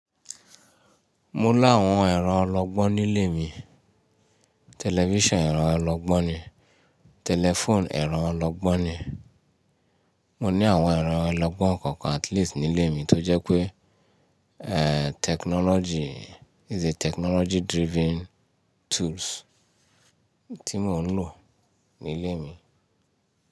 Mo láwọn ẹ̀rọ ọlọ́gbọ́n nílé mi. Television ẹ̀rọ ọlọ́gbọ́n ni, telephone ẹ̀rọ ọlọ́gbọ́n ni. Mo ní àwọn ẹ̀rọ ọlọ́gbọ́n kọ̀ọ̀kan at least nílé mi tó jẹ́ pé, technology is a technology driven tools tí mò ń lò nílé mi.